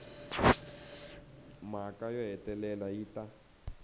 mhaka yo hetelela yi ta